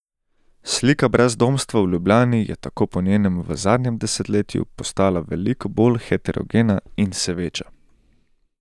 Slika brezdomstva v Ljubljani je tako po njenem v zadnjem desetletju postala veliko bolj heterogena in se veča.